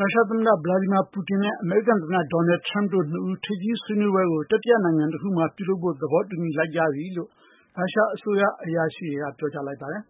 ရုရှားသမ္မတ Putin နဲ့ အမေရိကန်သမ္မတ Donald Trump တို့ရဲ့ ထိပ်သီးဆွေးနွေးပွဲ တရပ်ကို ကျင်းပဖို့ သဘောတူလိုက်ကြပြီလို့ ရုရှားအစိုးရ အရာရှိကြီးတွေက ပြောကြားလိုက်ပါတယ်။